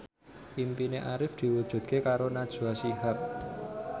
impine Arif diwujudke karo Najwa Shihab